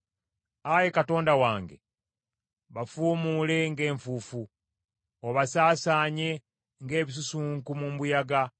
Ayi Katonda wange, bafuumuule ng’enfuufu, obasaasaanye ng’ebisusunku mu mbuyaga.